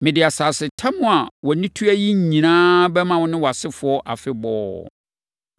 Mede asasetam a wʼani tua yi nyinaa bɛma wo ne wʼasefoɔ afebɔɔ.